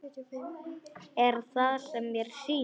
Er það sem mér sýnist?